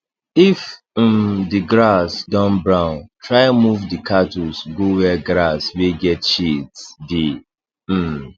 if um the grass don brown try move d cattles go where grass wey get shades dey um